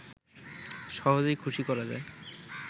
সহজেই খুশি করা যায়